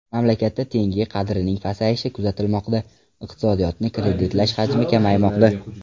Mamlakatda tenge qadrining pasayishi kuzatilmoqda, iqtisodiyotni kreditlash hajmi kamaymoqda.